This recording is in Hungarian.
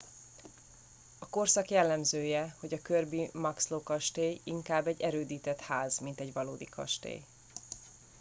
a korszak jellemzője hogy a kirby muxloe kastély inkább egy erődített ház mint egy valódi kastély